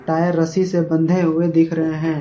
Tyre रस्सी से बंधे हुए दिख रहे हैं।